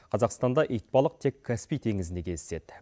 қазақстанда итбалық тек каспий теңізінде кездеседі